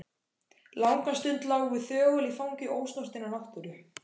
Langa stund lágum við þögul í fangi ósnortinnar náttúru.